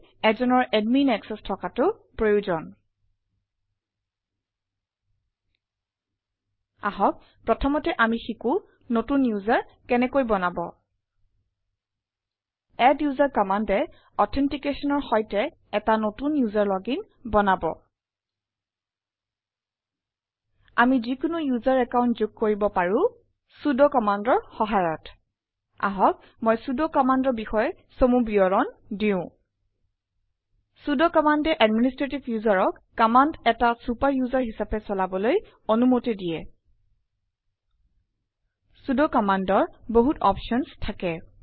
এজনৰ admin access থকাটো প্ৰয়োজন commandsবোৰ চলাবলৈ আহক প্ৰথমতে আমি শিকো নতুন ওচেৰ কেনেকৈ বনাব আদ্দোচেৰ commandএ এটা নতুন ওচেৰ লগিন বনাব অনুগ্যা পত্ৰৰ সৈতে আমি যিকোনো ওচেৰ একাউণ্ট যোগ কৰিব পাৰো চুদ commandৰ সহায়ত আহক মই চুদ commandৰ বিষয়ে চমু বিৱৰণ দিও চুদ commandএ এডমিনিষ্ট্ৰেটিভ userক কামাণ্ড এটা চুপাৰ ওচেৰ হিচাপে চলাবলৈ অনুমতি দিয়ে চুদ commandৰ বহুত অপশ্যনছ থাকে